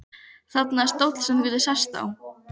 Þarna er stóll sem þú getur sest á.